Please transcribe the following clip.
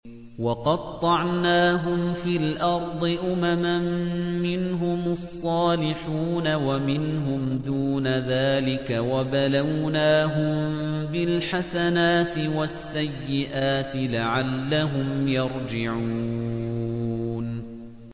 وَقَطَّعْنَاهُمْ فِي الْأَرْضِ أُمَمًا ۖ مِّنْهُمُ الصَّالِحُونَ وَمِنْهُمْ دُونَ ذَٰلِكَ ۖ وَبَلَوْنَاهُم بِالْحَسَنَاتِ وَالسَّيِّئَاتِ لَعَلَّهُمْ يَرْجِعُونَ